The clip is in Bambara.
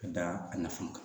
Ka da a nafa kan